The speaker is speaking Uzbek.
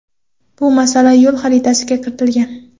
Bu masala yo‘l xaritasiga kiritilgan.